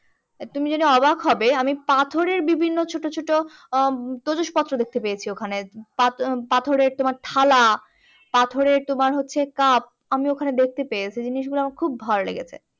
তুমি জেনে অবাক হবে আমি পাথরের বিভিন্ন ছোটো ছোটো উম ত্রজসপত্র দেখতে পেয়েছি ওখানে পাথরের তোমার থালা পাথরের তোমার হচ্ছে cup আমি ওখানে দেখতে পেয়েছি জিনিসগুলো আমার খুব ভালো লেগেছে।